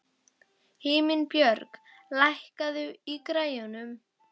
Himinbjörg, lækkaðu í græjunum.